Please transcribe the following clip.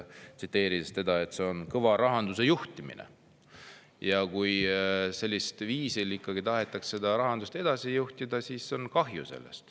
On kahju, kui rahandust tahetakse sellisel viisil edasi juhtida.